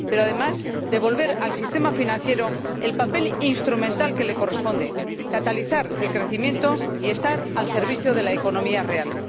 Pero, además, hay que devolver al sistema financiero el papel instrumental que le corresponde catalizar el crecimiento y estar al servicio de la economía real.